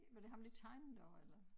Var det ham der tegnede også eller